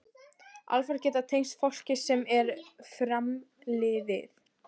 Álfar geta tengst fólki sem er framliðið.